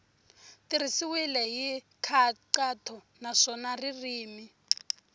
tirhisiwile hi nkhaqato naswona ririmi